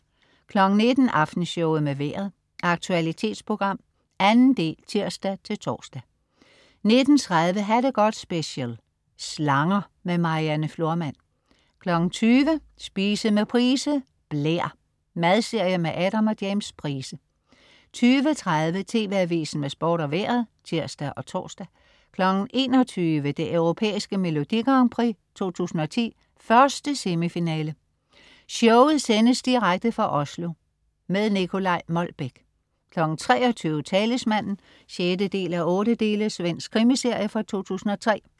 19.00 Aftenshowet med Vejret. Aktualitetsprogram, 2. del (tirs-tors) 19.30 Ha' det godt special. Slanger. Marianne Florman 20.00 Spise med Price. Blær. Madserie med Adam og James Price 20.30 TV Avisen med sport og Vejret (tirs og tors) 21.00 Det Europæiske Melodi Grand Prix 2010, 1. semifinale. Showet sendes direkte fra Oslo. Nicolai Molbech 23.00 Talismanen 6:8. Svensk krimiserie fra 2003